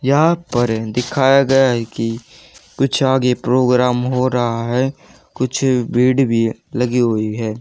यहां पर दिखाया गया है कि कुछ आगे प्रोग्राम हो रहा है कुछ भीड भी लगी हुई है।